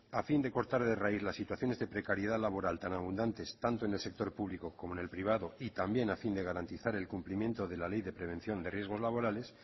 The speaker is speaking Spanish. a fin de cortar de raíz las situaciones de precariedad laboral tan abundantes tanto en el sector público como en el privado y también a fin de garantizar el cumplimiento de la ley de prevención de riesgos laborales